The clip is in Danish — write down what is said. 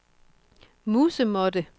musemåtte